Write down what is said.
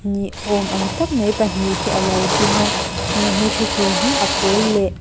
ni awm ang tak mai pahnih hi alo ding a he thuthleng hi a pawl leh--